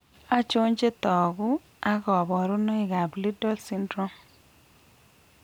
Achon chetogu ak kaborunoik ab Liddle syndrome?